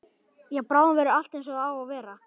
Já, bráðum verður allt einsog það á að vera.